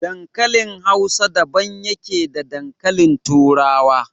Dankalin Hausa daban yake da dankalin Turawa.